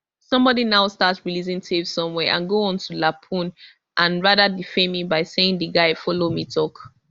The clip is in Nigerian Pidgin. somebody now start releasing tapes somewhere and go on to lampoon and rather defame me by saying di guy follow me tok